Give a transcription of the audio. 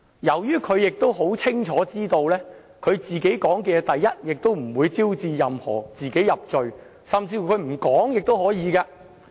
由於他清楚知道自己的供詞不會招致自己入罪，所以他甚至不回答問題也是可以的。